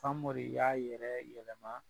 Famori y'a yɛrɛ yɛlɛma